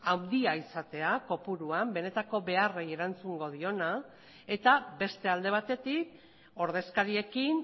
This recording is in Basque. handia egotea kopuruan benetako beharrei erantzungo diona eta beste alde batetik ordezkariekin